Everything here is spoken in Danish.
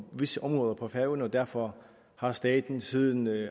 visse områder på færøerne og derfor har staten siden